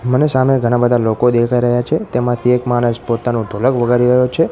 મને સામે ઘણા બધા લોકો દેખાય રહ્યા છે તેમાંથી એક માણસ પોતાનો ઢોલક વગાડી રહ્યો છે.